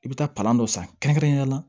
I bɛ taa palan dɔ san kɛrɛnkɛrɛnnenya la